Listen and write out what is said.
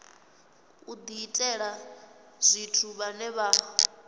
u diitela tshithu vhane vha